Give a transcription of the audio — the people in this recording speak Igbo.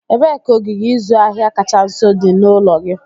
Ebee ka ogige ịzụ ahịa kacha nso dị n'ụlọ gị?